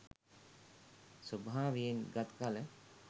ස්වභාවයෙන් ගත් කළ